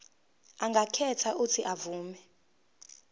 angakhetha uuthi avume